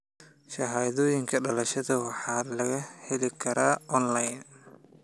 Shahaadooyinka dhalashada waxaa laga heli karaa onlayn.